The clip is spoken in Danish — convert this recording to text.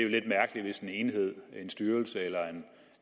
lidt mærkeligt hvis en enhed en styrelse eller